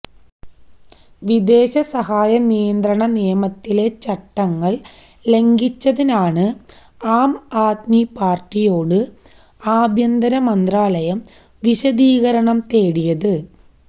വിദേശ സഹായ നിയന്ത്രണ നിയമത്തിലെ ചട്ടങ്ങള് ലംഘിച്ചതിനാണ് ആം ആദ്മി പാര്ട്ടിയോട് ആഭ്യന്തര മന്ത്രാലയം വിശദീകരണം തേടിയത്